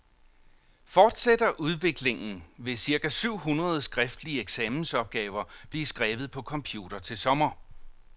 Fortsætter udviklingen, vil cirka syv hundrede skriftlige eksamensopgaver blive skrevet på computer til sommer.